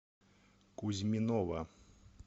кузьминова